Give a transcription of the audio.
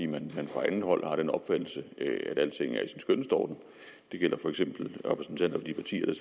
man fra andet hold har den opfattelse at alting er i sin skønneste orden det gælder for eksempel repræsentanter for de partier der